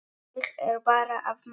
Ég er bara að masa.